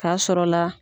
K'a sɔrɔla